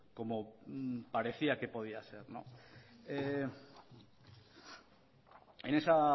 como parecía que podía ser en esa